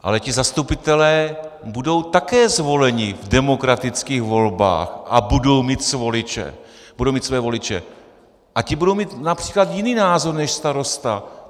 Ale ti zastupitelé budou také zvoleni v demokratických volbách a budou mít své voliče a ti budou mít například jiný názor než starosta!